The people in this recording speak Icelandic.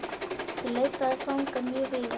Ég leitaði fanga mjög víða.